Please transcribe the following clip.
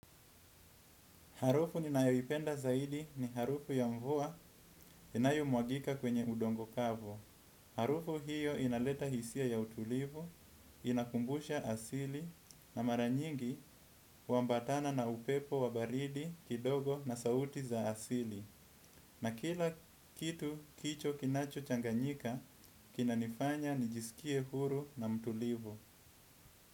Harufu ninayowipenda zaidi ni harufu ya mvua inayo mwagika kwenye udongo kavu. Harufu hiyo inaleta hisia ya utulivu, inakumbusha asili na maranyingi wambatana na upepo wabaridi kidogo na sauti za asili. Na kila kitu kicho kinacho changanyika, kinanifanya nijisikie huru na mtulivu.